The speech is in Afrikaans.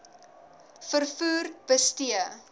v vervoer bestee